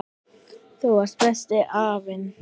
Þú varst besti afinn.